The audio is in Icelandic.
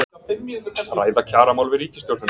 Ræða kjaramál við ríkisstjórnina